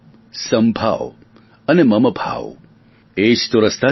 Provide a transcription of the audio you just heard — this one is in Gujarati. સમભાવ અને મમભાવ એજ તો રસ્તા છે